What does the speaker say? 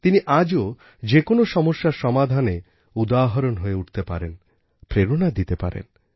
তিনি আজও যে কোনও সমস্যার সমাধানে উদাহরণ হয়ে উঠতে পারেন প্রেরণা দিতে পারেন